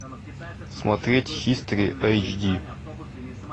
смотреть хистори эйчди